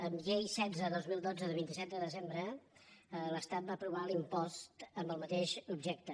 amb llei setze dos mil dotze de vint set de desembre l’estat va aprovar l’impost amb el mateix objecte